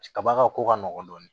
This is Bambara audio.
Kaba ka ko ka nɔgɔ dɔɔnin